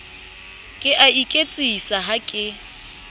ke a iketsisa ha ke